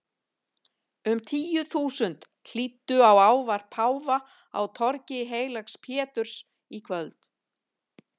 Um tíu þúsund hlýddu á ávarp páfa á torgi heilags Péturs í kvöld.